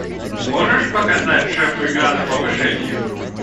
можешь показать шеф игра на повышение